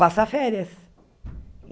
passar férias.